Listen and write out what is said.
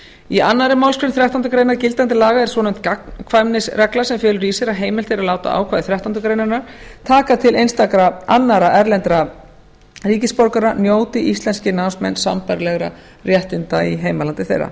í annarri málsgrein þrettándu greinar gildandi laga er svonefnd gagnkvæmnisregla sem felur í sér að heimilt er að láta ákvæði þrettándu greinar taka til einstakra annarra erlendra ríkisborgara njóti íslenskir námsmenn sambærilegra réttinda í heimalandi þeirra